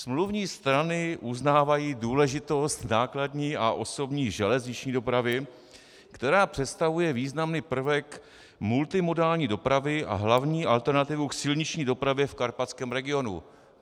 Smluvní strany uznávají důležitost nákladní a osobní železniční dopravy, která představuje významný prvek multimodální dopravy a hlavní alternativu k silniční dopravě v karpatském regionu.